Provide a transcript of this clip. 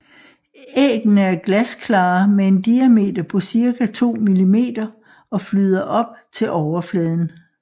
Æggene er glasklare med en diameter på cirka 2 millimeter og flyder op til overfladen